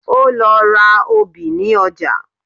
Ó lọ ra obì ní ọjà